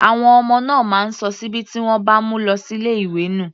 Àwọn ọmọ náà máa ń sọ síbí tí wọ́n bá mu lọ sí ilé ìwé nù.